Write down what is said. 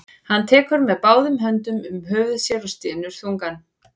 Hann tekur með báðum höndum um höfuð sér og stynur þungan.